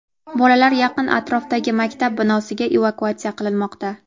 Bolalar yaqin atrofdagi maktab binosiga evakuatsiya qilinmoqda.